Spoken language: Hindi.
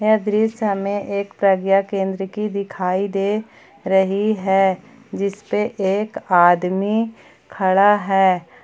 यह दृश्य हमें एक प्रज्ञा केंद्र की दिखाई दे रही है जिसपे एक आदमी खड़ा है।